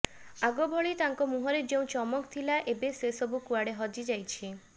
ଆଗ ଭଳି ତାଙ୍କ ମୁହଁରେ ଯେଉଁ ଚମକ ଥିଲା ଏବେ ସେ ସବୁ କୁଆଡ଼େ ହଜିଯାଇଛି